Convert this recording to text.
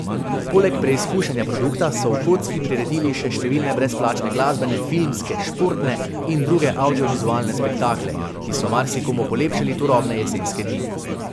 Poleg preizkušanja produkta so v kocki priredili še številne brezplačne glasbene, filmske, športne in druge avdiovizualne spektakle, ki so marsikomu polepšali turobne jesenske dni.